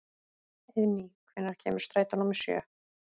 Eiðný, hvenær kemur strætó númer sjö?